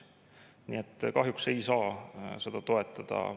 Nii et kahjuks ei saa seda toetada.